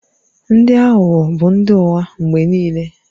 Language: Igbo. Ndị aghụghọ bụ ndị ụgha mgbe niile